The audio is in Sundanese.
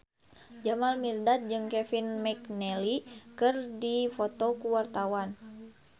Jamal Mirdad jeung Kevin McNally keur dipoto ku wartawan